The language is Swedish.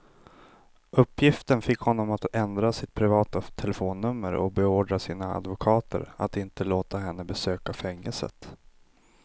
Uppgiften fick honom att ändra sitt privata telefonnummer och beordra sina advokater att inte låta henne besöka fängelset.